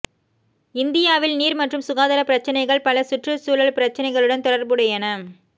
இந்தியாவில் நீர் மற்றும் சுகாதார பிரச்சினைகள் பல சுற்று சூழல் பிரச்சினைகளுடன் தொடர்புடையன